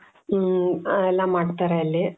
ಹ್ಮ್ ಎಲ್ಲಾ ಮಾಡ್ತಾರೆ ಅಲ್ಲಿ .